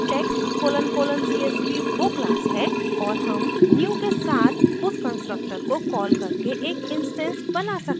text colon colon csv वो class है और हम new के साथ उस constructor को कॉल करके एक instance बना सकते हैं